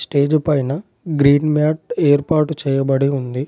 Stage పైన green mat ఏర్పాటు చేయబడి ఉంది.